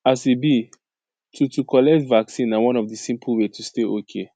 as e be to to collect vaccine na one of the simple way to stay okay